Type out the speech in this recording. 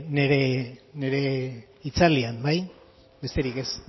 nire hitzaldian bai besterik ez